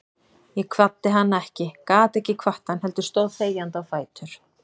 Ég kvaddi hann ekki, gat ekki kvatt hann, heldur stóð þegjandi á fætur.